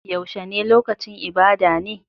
Yaushe ne lokacin ibada ne?